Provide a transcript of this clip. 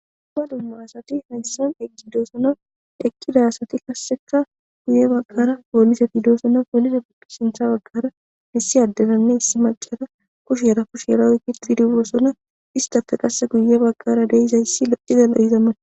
Duma dumma asati hayssan eggidoosona ekkida asati kasseka guye bagqara poolise pidoosonna poolise buqisintha baggara missi addelanne issi malcara kush yarafush yeraoyki pidiwoosona istafe qasse guye bagqara deizayssi locizallaizammana.